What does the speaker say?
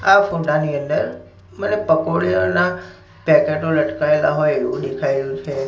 આ ફોટા ની અંદર મને પકોડીઓના પેકેટો લટકાયેલા હોય એવું દેખાય રહ્યું છે.